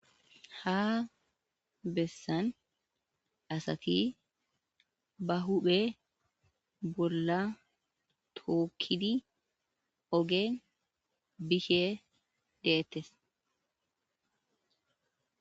Ha besan asati ba hophe bola tokidi ogen bishe detes.